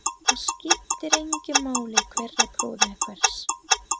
Það skiptir engu máli hver er bróðir hvers.